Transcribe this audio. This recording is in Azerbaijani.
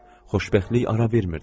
Xoşbəxtlik ara vermirdi.